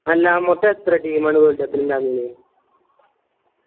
അല്ലാ മൊത്തം എത്ര team ആണ് world cup ൽ ഇണ്ടാവല്